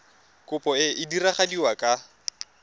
kopo e e diragadiwa ka